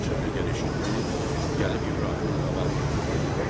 Bunu sövdəgər eşitdi, gəlib İbrahimin qabağını tutub dedi: